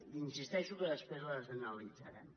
hi insisteixo després les analitzarem